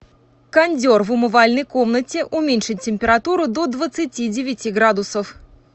кондер в умывальной комнате уменьшить температуру до двадцати девяти градусов